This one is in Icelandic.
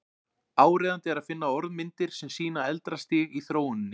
Áríðandi er að finna orðmyndir sem sýna eldra stig í þróuninni.